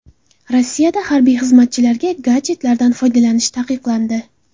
Rossiyada harbiy xizmatchilarga gadjetlardan foydalanish taqiqlandi.